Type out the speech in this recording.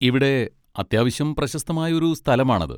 ഇവിടെ അത്യാവശ്യം പ്രശസ്തമായ ഒരു സ്ഥലമാണത്.